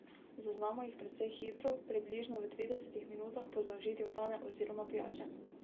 Zaznamo jih precej hitro, približno v tridesetih minutah po zaužitju hrane oziroma pijače.